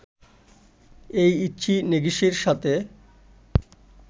এই ইচি নেগিশির সাথে